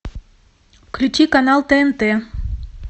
включи канал тнт